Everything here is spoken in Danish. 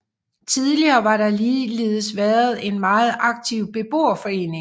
Tidligere har der ligeledes været en meget aktiv beboerforening